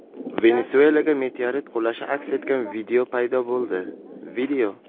Venesuelaga meteorit qulashi aks etgan video paydo bo‘ldi.